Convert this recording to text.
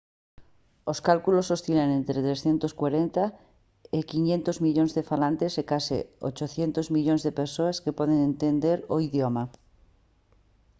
os cálculos oscilan entre 340 e 500 millóns de falantes e case 800 millóns de persoas que poden entender o idioma